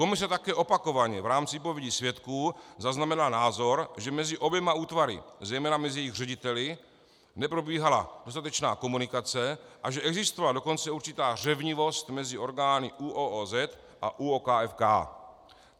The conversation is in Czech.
Komise také opakovaně v rámci výpovědi svědků zaznamenala názor, že mezi oběma útvary, zejména mezi jejich řediteli, neprobíhala dostatečná komunikace a že existovala dokonce určitá řevnivost mezi orgány ÚOOZ a ÚOKFK.